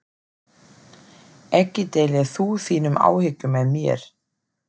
Ekki deilir þú þínum áhyggjum með mér.